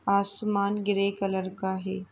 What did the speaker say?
आसमान grey colour का है।